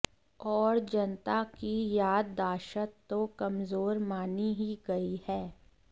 और जनता की याददाश्त तो कमजोर मानी ही गई है